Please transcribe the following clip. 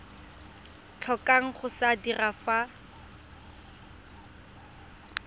tlhokang go se dira fa